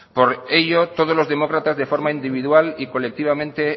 por ello todos los demócratas de forma individual y colectivamente